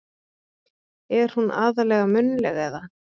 Er hún aðallega munnleg. eða.